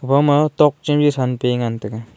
aga tokchem sanpe ngan taiga.